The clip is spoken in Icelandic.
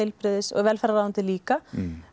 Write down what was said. velferðarráðuneytið líka